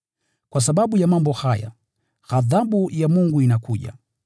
Kwa sababu ya mambo haya, ghadhabu ya Mungu inakuja.